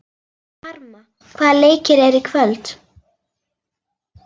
Karma, hvaða leikir eru í kvöld?